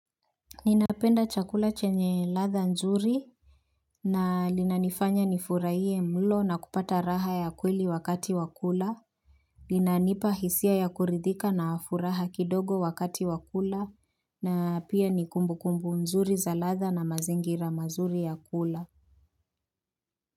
Ninapenda chakula chenye latha nzuri na linanifanya nifurahie mlo na kupata raha ya kweli wakati wa kula. Linanipa hisia ya kuridhika na furaha kidogo wakati wa kula na pia ni kumbukumbu nzuri za latha na mazingira mazuri ya kula.